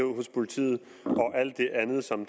hos politiet og alt det andet som